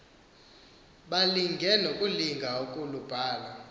balinge nokulinga ukulubhala